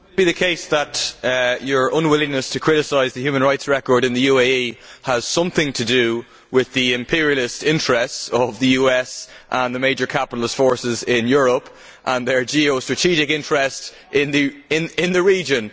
Could it be the case that your unwillingness to criticise the human rights record in the UAE has something to do with the imperialist interests of the US and the major capitalist forces in Europe and their geostrategic interest in the region?